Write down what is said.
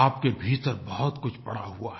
आपके भीतर बहुतकुछ पड़ा हुआ है